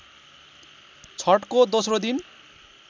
छठको दोस्रो दिन